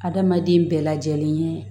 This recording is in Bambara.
Adamaden bɛɛ lajɛlen ye